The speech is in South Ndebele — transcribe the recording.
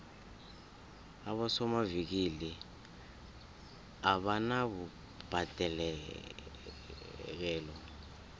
abosomavikili abanabubhadekelo